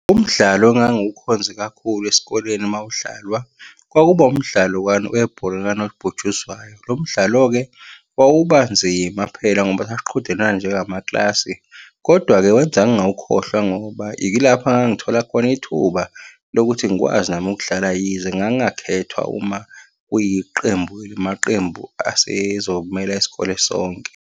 Umdlalo engangukhonze kakhulu esikoleni uma udlalwa, kwakuba umdlalo wani, webhola likanobhutshuzwayo. Lo mdlalo-ke wawubanzima phela ngoba sasiqhudelana njengamakilasi, kodwa-ke wenza ngingawukhohlwa ngoba ilapho engangithola khona ithuba lokuthi ngikwazi nami ukudlala yize ngangingakhethwa uma kuyiqembu amaqembu asezomela isikole sonke.